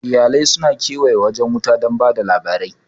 Iyalai su na kewaye wajen wuta don ba da labari